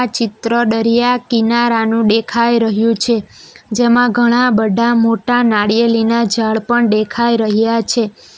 ચિત્ર ડરિયા કિનારાનું ડેખાઈ રહ્યું છે જેમાં ઘણા બઢા મોટા નાળિયેલીના ઝાડ પણ ડેખાઈ રહ્યા છે.